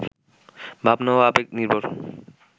ভাবনা ও আবেগ নির্ভর